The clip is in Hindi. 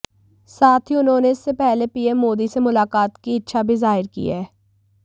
साथ ही उन्होंने इससे पहले पीएम मोदी से मुलाकात की इच्छा भी जाहिर की हैं